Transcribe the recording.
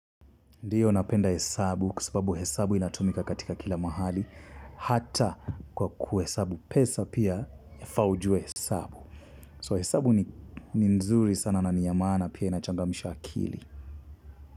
Ndiyo napenda hesabu kwa sababu hesabu inatumika katika kila mahali. Hata kwa kuhesabu pesa pia yafaa ujue hesabu So hesabu ni nzuri sana na ni ya maana pia inachangamsha akili.